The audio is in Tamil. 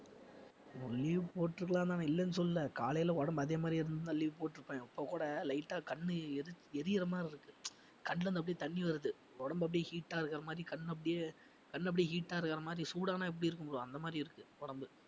leave போட்டிருக்கலாம் தான் நான் இல்லன்னு சொல்லல. காலையில உடம்பு அதே மாதிரி இருந்திருந்தா leave போட்டிருப்பேன் இப்ப கூட light ஆ கண்ணு எரி~ எரியற மாதிரி இருக்கு கண்ணில இருந்து அப்படியே தண்ணி வருது உடம்பு அப்படியே heat ஆ இருக்கிற மாதிரி கண்ணு அப்படியே கண்ணு அப்படியே heat ஆ இருக்கிற மாதிரி சூடானா எப்படி இருக்கும் bro அந்த மாதிரி இருக்கு உடம்பு